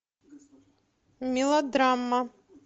мелодрама